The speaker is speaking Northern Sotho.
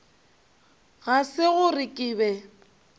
ga se gore ke be